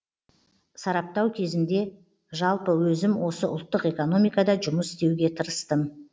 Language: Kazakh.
сараптау кезінде жалпы өзім осы ұлттық экономикада жұмыс істеуге тырыстым